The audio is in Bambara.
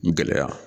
Gɛlɛya